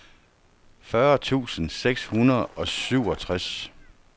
fyrre tusind seks hundrede og syvogtres